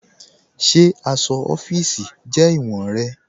Ṣe aṣọ ọfiisi jẹ iwọ̀n rẹ̀?